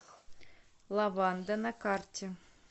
лаванда на карте